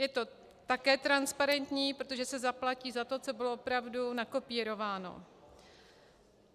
Je to také transparentní, protože se zaplatí za to, co bylo opravdu nakopírováno.